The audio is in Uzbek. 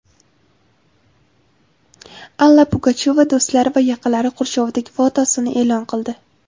Alla Pugachyova do‘stlari va yaqinlari qurshovidagi fotosini e’lon qildi.